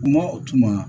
Kuma o tuma